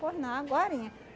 Pois não, agorinha